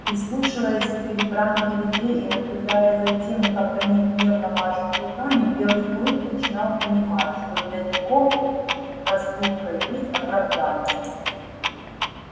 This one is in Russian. прислушиваясь к перебранке людей и наблюдая за тем как они гневно машут руками белый клык начинал понимать что для него проступка есть оправдание